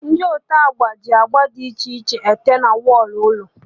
Ndị ote agba na-eji agba dị iche iche ete na wọlụ ụlọ